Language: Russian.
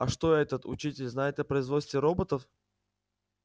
а что этот учитель знает о производстве роботов